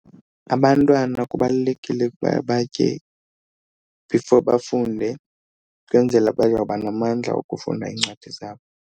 Abantwana kubalulekile ukuba batye before bafunde ukwenzela bayoba namandla okufunda iincwadi zabo.